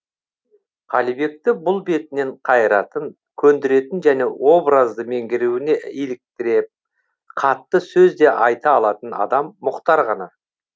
қалибекті бұл бетінен қайыратын көндіретін және образды меңгеруіне иліктіріп қатты сөз де айта алатын адам мұхтар ғана